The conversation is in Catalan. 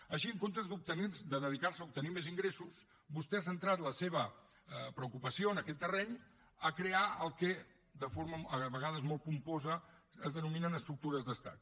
així en comptes de dedicar se a obtenir més ingressos vostè ha centrat la seva preocupació en aquest terreny a crear el que de forma a vegades molt pomposa es denominen estructures d’estat